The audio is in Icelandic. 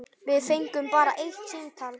Við fengum bara eitt símtal.